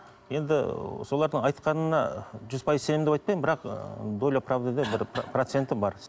енді солардың айтқанына жүз пайыз сенемін деп айтпаймын бірақ ыыы доля правдыда бір проценті бар